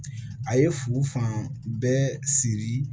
A ye fu fan bɛɛ siri